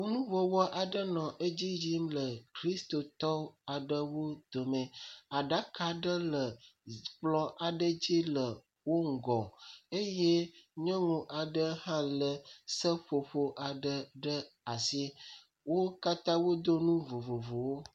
Kɔnuwɔwɔ aɖewo le edzi yim le kristotɔwo aɖe dome. Aɖaka aɖe le kplɔ aɖe dzi le wo ŋgɔ eye nyɔnu aɖe hã lé seƒoƒo ɖe asi. Wo katã wodo nu vovovowo.